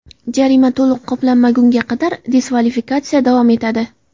Jarima to‘liq qoplanmagunga qadar diskvalifikatsiya davom etadi.